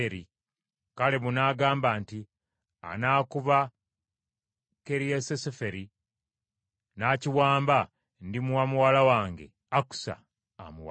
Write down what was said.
Kalebu n’agamba nti, “Anaakuba Kiriasuseferi n’akiwamba ndimuwa muwala wange Akusa amuwase.”